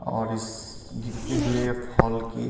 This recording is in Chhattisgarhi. और इस गिरते हुए फॉल की --